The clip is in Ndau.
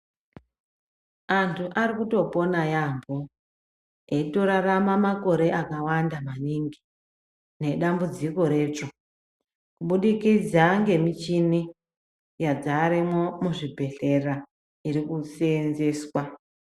Antu ari kutopona yaamho, eitorarama makore akawanda maningi nedambudziko retsvo. Kubudikidza ngemichini yadzaremwo muzvibhedhlera iri kuseenzeswa.